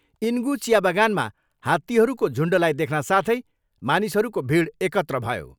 इनगु चिया बगानमा हातीहरूको झुन्डलाई देख्न साथै मानिसहरूको भिड एकत्र भयो।